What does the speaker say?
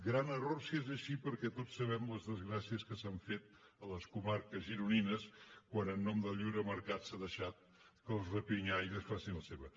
gran error si és així perquè tots sabem les desgràcies que s’han fet a les comarques gironines quan en el nom del lliure mercat s’ha deixat que els rapinyaries facin la seva